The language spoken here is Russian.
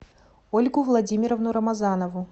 ольгу владимировну рамазанову